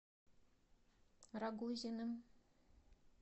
рогозиным